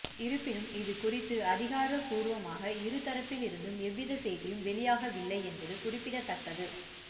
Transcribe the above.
இருப்பினும் இதுகுறித்து அதிகாரபூர்வமாக இரு தரப்பில் இருந்தும் எந்தவித செய்தியும் வெளியாகவில்லை என்பது குறிப்பிடத்தக்கது